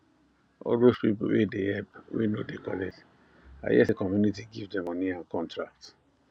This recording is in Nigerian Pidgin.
all those people wey dey help wey no dey collect i hear say community give them money and contract